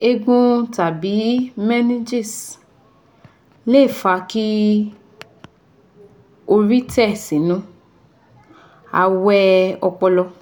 Eegun tàbí meninges lè fa kí orí tẹ̀ sínú awẹ́ ọpọlọ